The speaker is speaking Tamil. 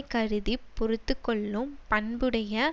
கருதி பொறுத்து கொள்ளும் பண்புடைய